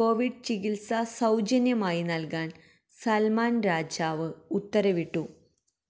Covid ചികിത്സ സൌജന്യമായി നല്കാന് സല്മാന് രാജാവ് ഉത്തരവിട്ടു